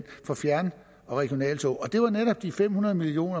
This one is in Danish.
for fjern og regionaltog og det var netop de fem hundrede million